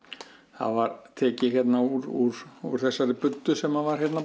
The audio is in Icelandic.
það var tekið hérna úr úr úr þessari buddu sem var hérna